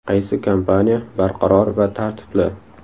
Qaysi kompaniya barqaror va tartibli?